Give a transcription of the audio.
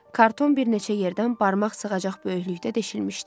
Karton bir neçə yerdən barmaq sığacaq böyüklükdə deşilmişdi.